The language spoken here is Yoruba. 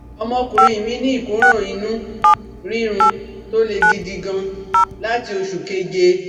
Ọmọkùnrin mí ní ìkóràn inú rírun tó le gidi gan láti oṣù keje